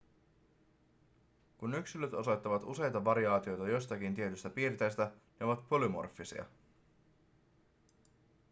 kun yksilöt osoittavat useita variaatioita jostakin tietystä piirteestä ne ovat polymorfisia